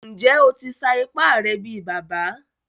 Njẹ́, ó tì ṣà ìpà rẹ̀ bí bàbá?